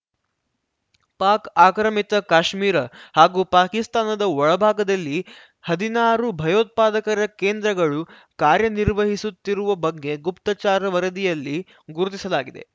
ಪಾಕ್‌ ಆಕ್ರಮಿತ ಕಾಶ್ಮೀರ ಹಾಗೂ ಪಾಕಿಸ್ತಾನದ ಒಳಭಾಗದಲ್ಲಿ ಹದಿನಾರು ಭಯೋತ್ಪಾದಕರ ಕೇಂದ್ರಗಳು ಕಾರ್ಯನಿರ್ವಹಿಸುತ್ತಿರುವ ಬಗ್ಗೆ ಗುಪ್ತಚಾರ ವರದಿಯಲ್ಲಿ ಗುರುತಿಸಲಾಗಿದೆ